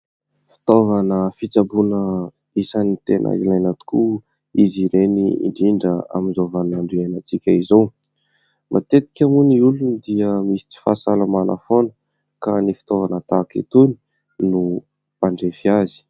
Fitaovana fitsaboana isany tena ilaina tokoa izy ireny indrindra amin'izao vaninandro iainantsika izao. Matetika moa ny olona dia misy tsy fahasalamana foana, ka ny fitaovana tahaka itony no mandrefy azy.